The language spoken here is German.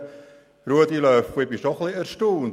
Ich bin etwas erstaunt über Grossrat LöffelWenger.